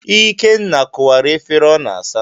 Ikenna kụwara efere ọ n'asa.